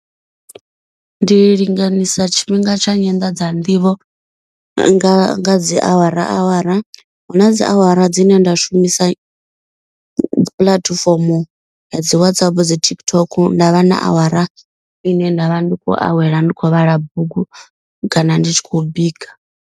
Ndi linganisa tshifhinga tsha nyanḓadza nḓivho nga nga dzi awara awara. Hu na dzi awara dzine nda shumisa puḽatifomo ya dzi Whatsapp dzi TikTok. Nda vha na awara ine nda vha ndi khou awela ndi khou vhala bugu kana ndi tshi khou bika.